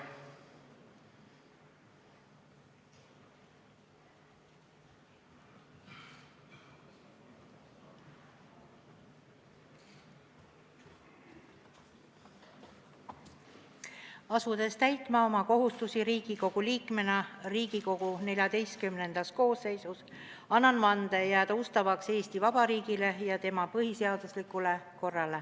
Asudes täitma oma kohustusi Riigikogu liikmena Riigikogu XIV koosseisus, annan vande jääda ustavaks Eesti Vabariigile ja tema põhiseaduslikule korrale.